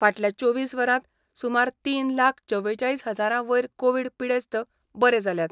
फाटल्या चोवीस वरांत सुमार तीन लाख चवेचाळीस हजारां वयर कोवीड पिडेस्त बरे जाल्यात.